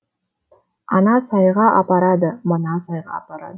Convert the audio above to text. ана сайға апарады мына сайға апарады